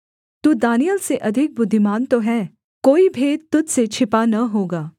तू दानिय्येल से अधिक बुद्धिमान तो है कोई भेद तुझ से छिपा न होगा